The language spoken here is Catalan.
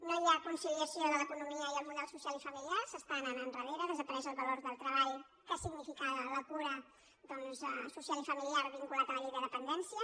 no hi ha conciliació de l’economia i el model social i familiar s’està anant endarrere desapareix el valor del treball que significava la cura doncs social i familiar vinculat a la llei de dependència